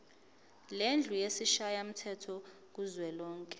lendlu yesishayamthetho kuzwelonke